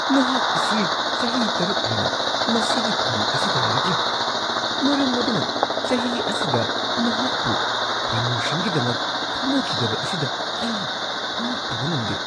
ꯅꯍꯥꯛ ꯑꯁꯤ ꯆꯍꯤ ꯶ ꯍꯦꯟꯅ ꯃꯁꯤꯒꯤ ꯐꯝ ꯑꯁꯤꯗ ꯂꯩꯔꯛꯂꯤ, ꯃꯔꯝ ꯑꯗꯨꯅ ꯆꯍꯤ ꯑꯁꯤꯗ ꯅꯍꯥꯛꯄꯨ ꯄ꯭ꯔꯃꯣꯁꯟꯒꯤꯗꯃꯛ ꯈꯟꯅꯈꯤꯗꯕ ꯑꯁꯤꯗ ꯑꯩ ꯉꯛꯇꯕ ꯉꯝꯗꯦ ꯫ (ꯁꯤꯟꯃꯤ ꯱)